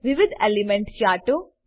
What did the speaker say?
વિવિધ એલીમેન્ટલ ચાર્ટો 2